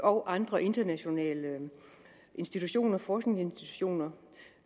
og andre internationale internationale forskningsinstitutioner